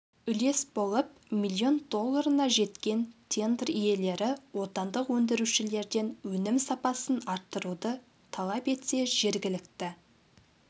үлес болып миллион долларына жеткен тендер иелері отандық өндірушілерден өнім сапасын арттыруды талап етсе жергілікті